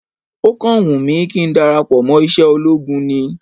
Ó kàn wùn mí kí n darapọ̀ mọ́ iṣẹ́ ológun ni